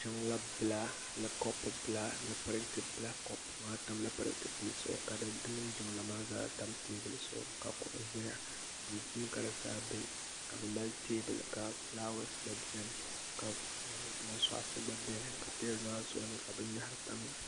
jiŋla bila ni kɔpu bila ni parantɛ bila kɔpu bili maa tamla parantɛ bili zuɣu ka di mini jiŋlaa maa zaa teebuli zuɣu ka kuɣu ʒɛya duu puuni ka di zaa bɛ ka bi mali teebuli ka fulaawɛs gba biɛni ka soɣasi gba biɛni ka teebuli maa zuɣu binyahari tamya